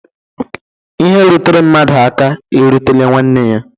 lhe rutere mmadu aka erutela nwanne ya.